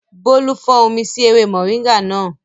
Bólú fọ́n omi sí ewé mọ̀ríńgà náà